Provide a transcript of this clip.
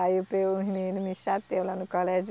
Aí os menino me chateia lá no colégio.